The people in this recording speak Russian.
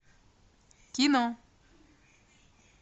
кино